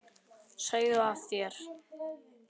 Segðu af þér!